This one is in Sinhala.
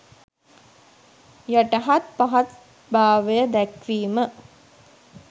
යටහත් පහත් භාවය දැක්වීම